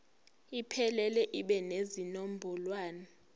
iphelele ibe nezinombolwana